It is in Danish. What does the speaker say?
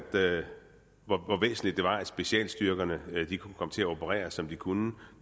det var at specialstyrkerne kunne komme til at operere som de kunne